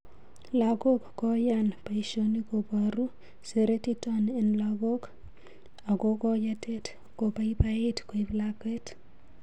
lagok koyaan paishonik koparu seretiton en lagok ako koyetet ko paipait koip lakwet